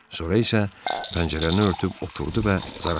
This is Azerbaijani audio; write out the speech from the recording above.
So isə pəncərəni örtüb oturdu və zarafatla: